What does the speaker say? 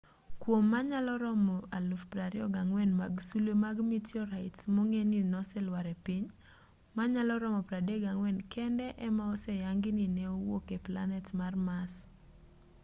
kuom manyalo romo 24,000 mag sulwe mag mitiorait mong'e ni noselwar e piny manyalo romo 34 kende ema oseyangi ni ne owuok e planet mar mars